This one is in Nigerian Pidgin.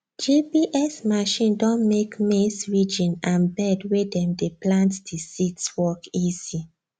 gps machine don make maize ridging and bed wey them dey plant the seeds work easy